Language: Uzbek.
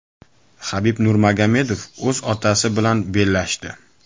Habib Nurmagomedov o‘z otasi bilan bellashdi .